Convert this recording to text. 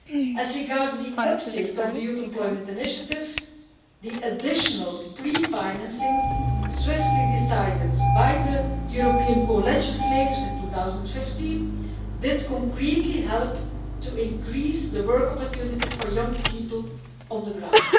As regards uptake of the Youth Employment Initiative, the additional pre financing swiftly decided on by the European co legislators in 2015 concretely helped to increase the work opportunities for young people on the ground.